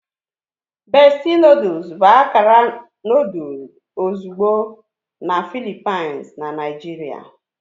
Bestie noodles bụ akara noodle ozugbo na Philippines na Naijiria.